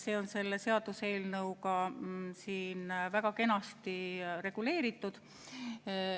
Need on selle seaduseelnõuga siin väga kenasti reguleeritud.